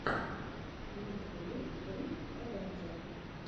в ютюбе рик эвендже